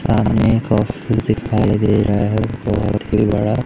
सामने को दे रहा है बहोत ही बड़ा--